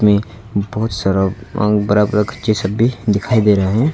में बहुत सारा अह बड़ा वृक्ष ये सब भी दिखाई दे रहा है।